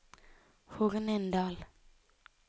Hornindal